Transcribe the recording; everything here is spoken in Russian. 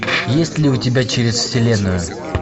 есть ли у тебя через вселенную